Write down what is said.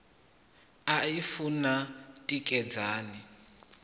u a i funa tikedzani